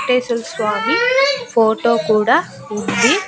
టేసులు స్వామి ఫోటో కూడా ఉంది.